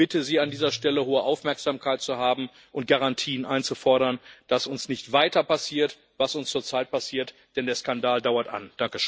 Ich bitte Sie, an dieser Stelle hohe Aufmerksamkeit zu haben und Garantien einzufordern, damit uns nicht weiter passiert, was uns zurzeit passiert, denn der Skandal dauert an.